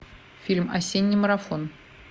фильм осенний марафон